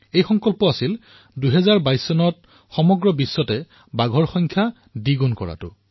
এই সংকল্প আছিল যে ২০২২ চনৰ ভিতৰত সমগ্ৰ বিশ্বতে বাঘৰ সংখ্যা দুগুণ কৰিব লাগিব